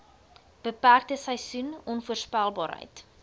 beperkte seisoen onvoorspelbaarheid